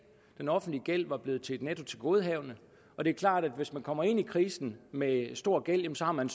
den offentlige gæld var blevet til et nettotilgodehavende og det er klart at hvis man kommer ind i krisen med en stor gæld så har man